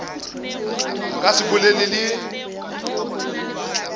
a ka se bolele le